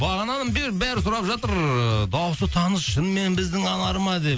бағанадан бері бәрі сұрап жатыр ыыы дауысы таныс шынымен біздің анар ма деп